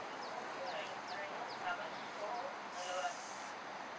அடுத்தது Oppo Reno seven pro அதுல ஒரு அஞ்சு ma'am